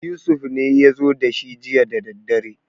Yusuf ne ya zo da shi jiya daddadre